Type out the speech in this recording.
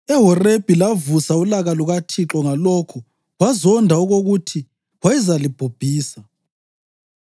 EHorebhi lavusa ulaka lukaThixo ngalokho wazonda okokuthi wayezalibhubhisa.